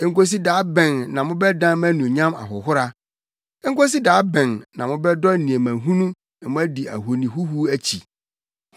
Enkosi da bɛn na mobɛdan mʼanuonyam ahohora? Enkosi da bɛn na mobɛdɔ nneɛma hunu na moadi ahoni ahuhuw akyi?